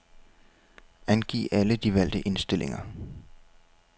Angiv alle de valgte indstillinger.